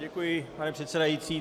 Děkuji, pane předsedající.